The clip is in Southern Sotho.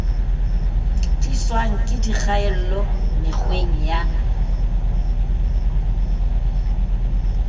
tliswang ke dikgaello mekgweng ya